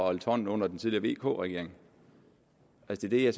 og holdt hånden under den tidligere vk regering altså det er